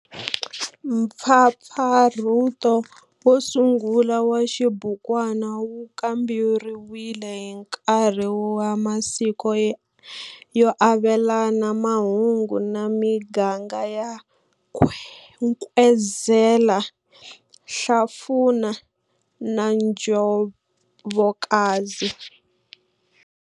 Mpfapfarhuto wo sungula wa xibukwana wu kamberiwe hi nkarhi wa masiku yo avelana mahungu na miganga ya Nkwezela, Hlafuna na Njobokazi.